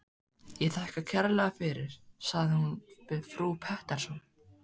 Ég þakka kærlega fyrir, sagði hún við frú Pettersson.